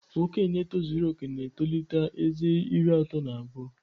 Okenye tozuru oke na-etolite ezé iri atọ na abụọ.